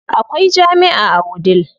Akwai jami'a a Wudil.